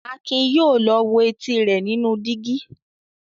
Akin yóò lọ wo etí rẹ̀ nínú dígí.